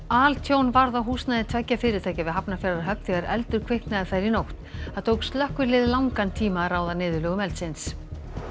altjón varð á húsnæði tveggja fyrirtækja við Hafnarfjarðarhöfn þegar eldur kviknaði þar í nótt það tók slökkvilið langan tíma að ráða niðurlögum eldsins